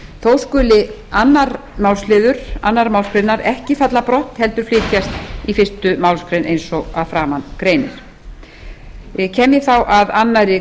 þó skuli annars málsl annarrar málsgreinar ekki falla brott heldur flytjast í fyrstu málsgrein eins og að framan greinir kem ég þá að annarri